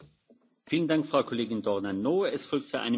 Żeby odbyła się debata, to powinny być jakieś dwa stanowiska.